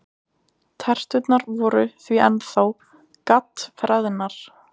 Terturnar voru því ennþá GADD-FREÐNAR!